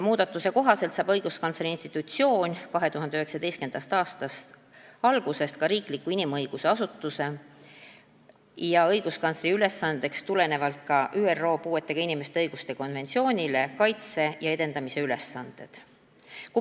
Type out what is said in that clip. Muudatuse kohaselt hakkab õiguskantsleri institutsioon 2019. aasta algusest riikliku asutusena tulenevalt ÜRO puuetega inimeste õiguste konventsioonist täitma ka inimõiguste kaitse ja edendamisega seotud ülesandeid.